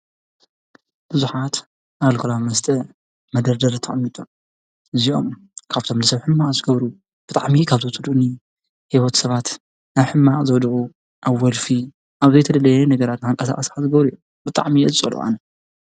ብዙሓት ኣልኮላዊ መስተ ኣብ መደርደሪ ተቀሚጦም እዚኦም ካብቶም ንሰብ ሕማቅ ዝገብሩ ብጣዕሚ ካብ ዘፅልኡኒ ሂወት ሰባት ናብ ሕማቅ ዘዉድቁ ኣብ ወልፊ ኣብ ዘይተደለየ ነገራት ከንቀሳቅሱካ ዝገብሩ እዮም:: ብጣዕሚ እየ ዝፅልኦ ::